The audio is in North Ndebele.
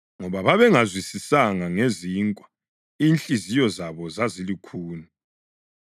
ngoba babengazwisisanga ngezinkwa; inhliziyo zabo zazilukhuni.